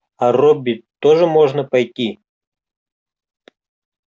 а робби тоже можно пойти